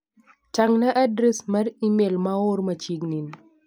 Tang' na adres mar imel ma oor machiegni ni.